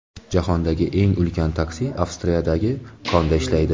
Jahondagi eng ulkan taksi Avstriyadagi konda ishlaydi.